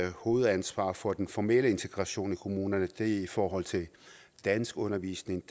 hovedansvaret for den formelle integration i kommunerne og det er i forhold til danskundervisning